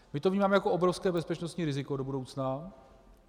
My to vnímáme jako obrovské bezpečnostní riziko do budoucna.